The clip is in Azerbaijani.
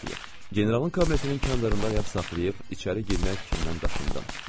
Generalın kabinetinin qandarında ayaq saxlayıb içəri girmək fikrindən daşındım.